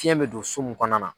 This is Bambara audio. Fiyɛn bɛ don so min kɔnɔna na.